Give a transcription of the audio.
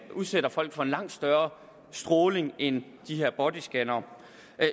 udsætter folk for en langt større stråling end de her bodyscannere